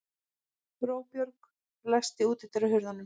Róbjörg, læstu útidyrunum.